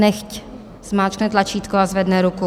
Nechť zmáčkne tlačítko a zvedne ruku.